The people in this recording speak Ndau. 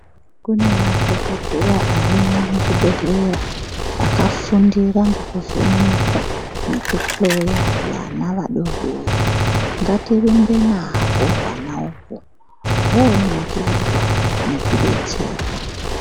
Kune madhokodheya arimo muzvibhedhlera akafundira kuvheneka nekuhloya vana vadoodori, ngatirumbe nahwo hwana uhwo hunoringirwa nekudetserwa.